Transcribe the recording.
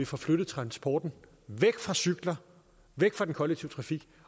får flyttet transporten væk fra cykler væk fra den kollektive trafik